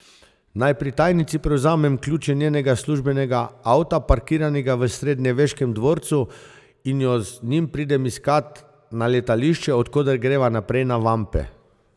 Naj pri tajnici prevzamem ključe njenega službenega avta, parkiranega v srednjeveškem dvorcu, in jo z njim pridem iskat na letališče, od koder greva naprej na vampe.